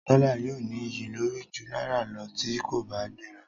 Dọ́là yóò ní iyì lórí ju náírà lọ tí kò bá gbéra.